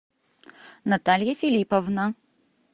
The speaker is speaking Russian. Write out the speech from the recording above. наталья филипповна